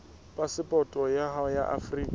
phasepoto ya hao ya afrika